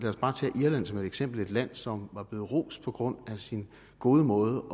os bare tage irland som et eksempel et land som blev rost på grund af sin gode måde